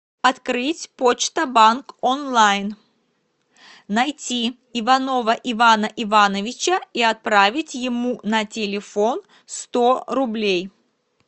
открыть почта банк онлайн найти иванова ивана ивановича и отправить ему на телефон сто рублей